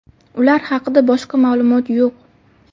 Ular haqida boshqa ma’lumot yo‘q.